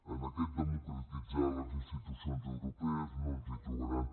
en aquest democratitzar les institucions europees no ens hi trobaran